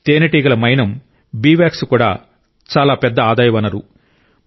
తేనెటీగ మైనం bee wax కూడా చాలా పెద్ద ఆదాయ వనరు